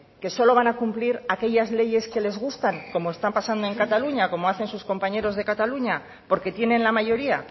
que solo van a cumplir aquellas leyes que les gustan como está pasando en cataluña como hacen sus compañeros de cataluña porque tienen la mayoría